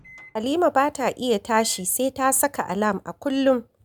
Halima ba ta iya tashi sai ta saka alam a kullum